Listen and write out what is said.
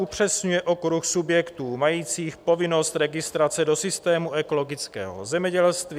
upřesňuje okruh subjektů majících povinnost registrace do systému ekologického zemědělství;